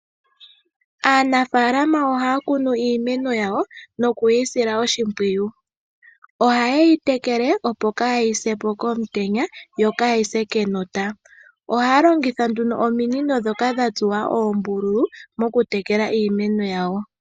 Aanafaalama ohaya kunu iimeno yawo, nokuyi sila oshimpwiyu . Ohaye yi tekele, opo kaayi se po komutenya, yo kaayi se enota. Ohaya longitha nduno ominino ndhono dha tsuwa oombululu okutekela iimeno ye.